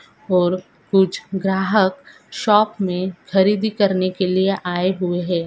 और कुछ ग्राहक शॉप मे खरीदी करने के लिए आए हुए है।